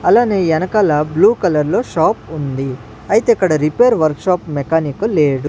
అలానే ఎనకాల blue colour లో షాప్ ఉంది అయితే అక్కడ రిపేర్ వర్క్ షాప్ మెకానిక్ లేడు.